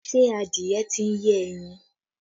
Ṣé adìẹ tí ń yé ẹyin?